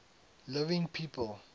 living people